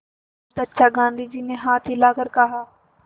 बहुत अच्छा गाँधी जी ने हाथ हिलाकर कहा